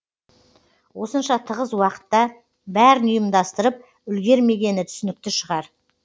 осынша тығыз уақытта бәрін ұйымдастырып үлгермегені түсінікті шығар